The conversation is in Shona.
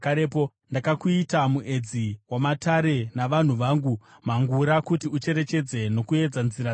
“Ndakakuita muedzi wamatare navanhu vangu mhangura, kuti ucherechedze uye uedze nzira dzavo.